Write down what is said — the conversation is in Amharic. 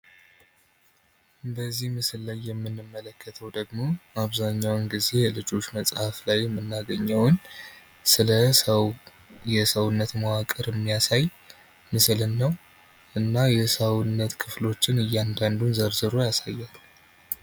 በዚህ ምስል ላይ የምንመለከተው ደግሞ በአብዛኛው ጊዜ በልጆች መፃህፍ ላይ የምናገኘውን ስለሰው ሰውነት መዋቅር የሚያሳይ ምስልን ነው። እና የሰውነት ክፍሎች እያንዳንዱን ዘርዝሮ ያሳያል።